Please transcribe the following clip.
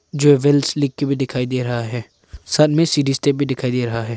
जो वेल्स लिखके भी दिखाई दे रहा है सामने में सीढ़ी स्टेप भी दिखाई दे रहा है।